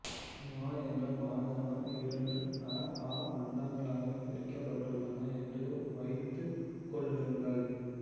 மா என்ற மாகாணம் இரண்டு அ ஆ மண்டலங்களாகப் பிரிக்கப்பட்டுள்ளது என்று வைத்துக் கொள்ளுங்கள்